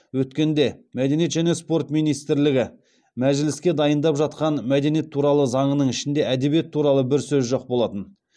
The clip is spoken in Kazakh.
өткенде мәдениет және спорт министрлігі мәжіліске дайындап жатқан мәдениет туралы заңның ішінде әдебиет туралы бір сөз жоқ болатын